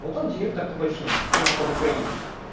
вот он директор такой фирмы ну только в украине